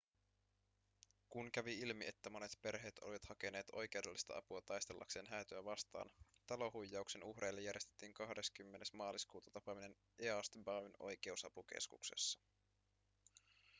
kun kävi ilmi että monet perheet olivat hakeneet oikeudellista apua taistellakseen häätöä vastaan talohuijauksen uhreille järjestettiin 20 maaliskuuta tapaaminen east bayn oikeusapukeskuksessa